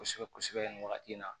Kosɛbɛ kosɛbɛ nin wagati in na